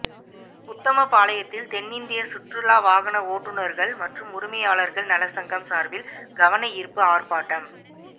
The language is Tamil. உத்தமபாளையத்தில் தென்னிந்திய சுற்றுலா வாகன ஓட்டுநர்கள் மற்றும் உரிமையாளர்கள் நலச்சங்கம் சார்பில் கவன ஈர்ப்பு ஆர்ப்பாட்டம்